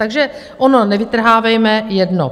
Takže ono nevytrhávejme jedno.